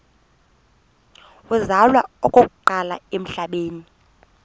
uzalwa okokuqala emhlabeni